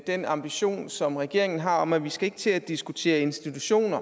den ambition som regeringen har om at vi ikke skal til at diskutere institutioner